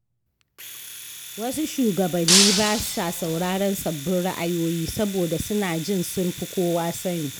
Wasu shugabanni ba sa sauraron sabbin ra’ayoyi, saboda suna jin sun fi kowa sani.